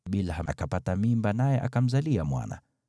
Bilha akapata mimba, naye akamzalia Yakobo mwana.